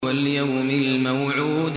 وَالْيَوْمِ الْمَوْعُودِ